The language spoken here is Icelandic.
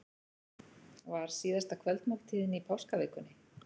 Var síðasta kvöldmáltíðin í páskavikunni?